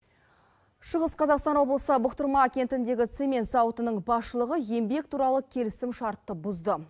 шығыс қазақстан облысы бұқтырма кентіндегі цемент зауытының басшылығы еңбек туралы келісім шартты бұзды